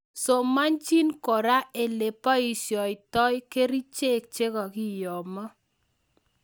Somanchin kora ele boisyoitoi kerichek chekakiyomo